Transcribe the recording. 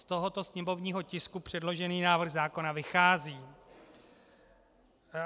Z tohoto sněmovního tisku předložený návrh zákona vychází.